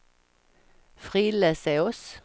Frillesås